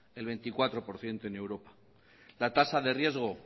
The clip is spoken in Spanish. el veinticuatro por ciento en europa la tasa de riesgo